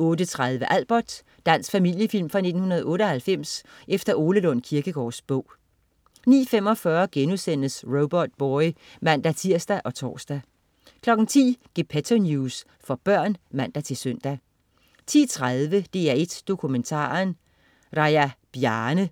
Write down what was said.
08.30 Albert. Dansk familiefilm fra 1998 efter Ole Lund Kirkegaards bog 09.45 Robotboy* (man-tirs og tors) 10.00 Gepetto News. For børn (man-søn) 10.30 DR1 Dokumentaren: Raja Bjarne*